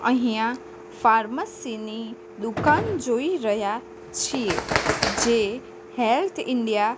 અહીંયા ફાર્મસી ની દુકાન જોઈ રહ્યા છીએ જે હેલ્થ ઇન્ડિયા --